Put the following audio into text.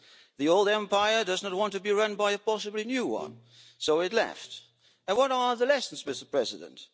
The old empire does not want to be run by a possibly new one, so it left. What are the lessons, Mr President?